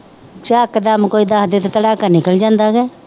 ਝਿਕ ਦਮ ਕੋਈ ਦਸਦੇ ਤੇ ਤਰਾਂਕਾ ਨਿਕਲ ਜਾਂਦੇ ਤੇ